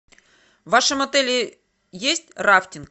в вашем отеле есть рафтинг